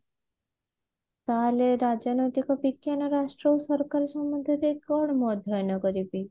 ତାହେଲେ ରାଜନୈତିକ ବିଜ୍ଞାନ ରାଷ୍ଟ୍ର ଓ ସରକାର ସମ୍ବନ୍ଧ ରେ କଣ ମୁ ଅଧ୍ୟୟନ କରିବି